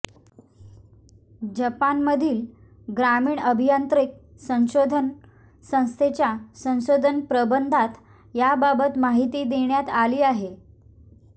जपानमधील ग्रामीण अभियांत्रिकी संशोधन संस्थेच्या संशोधन प्रबंधात याबाबत माहिती देण्यात आली आहे